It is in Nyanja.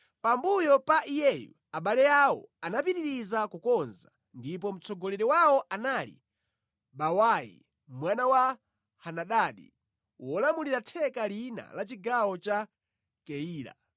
Pambuyo pa iyeyu abale awo anapitiriza kukonza, ndipo mtsogoleri wawo anali Bawai mwana wa Henadadi, wolamulira theka lina la chigawo cha Keyila.